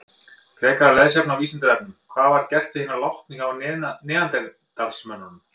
Frekara lesefni á Vísindavefnum: Hvað var gert við hina látnu hjá neanderdalsmönnum?